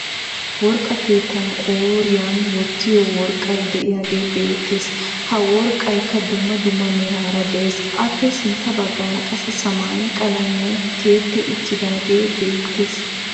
Worqqa keettan qooriyan wottiyo worqqay diyagee beettes. Ha worqqayikka dumma dumma meraara de'ees. Aappe sintta baggaara qassi samaaye qalamiyan tiyetti uttaagee beettes.